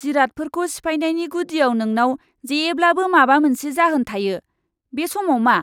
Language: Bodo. जिरादफोरखौ सिफायनायनि गुदियाव नोंनाव जेब्लाबो माबा मोनसे जाहोन थायो। बे समाव मा?